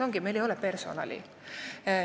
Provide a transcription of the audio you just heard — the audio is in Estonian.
Esiteks, meil ei ole personali.